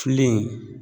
Filen